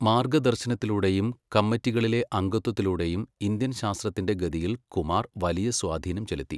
മാർഗദർശനത്തിലൂടെയും കമ്മിറ്റികളിലെ അംഗത്വത്തിലൂടെയും ഇന്ത്യൻ ശാസ്ത്രത്തിന്റെ ഗതിയിൽ കുമാർ വലിയ സ്വാധീനം ചെലുത്തി.